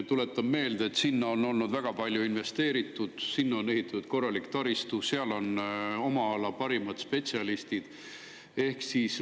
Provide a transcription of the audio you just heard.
Tuletan meelde, et sinna on väga palju investeeritud, sinna on ehitatud korralik taristu, seal on oma ala parimad spetsialistid.